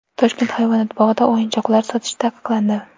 Toshkent hayvonot bog‘ida o‘yinchoqlar sotish taqiqlandi.